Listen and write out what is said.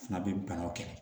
Fana bɛ banaw kɛlɛ